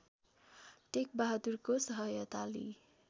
टेकबहादुरको सहायता लिई